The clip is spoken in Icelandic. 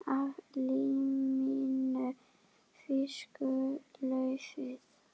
Af liminu fýkur laufið.